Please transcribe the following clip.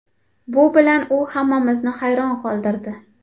Bu bilan u hammamizni hayron qoldirdi.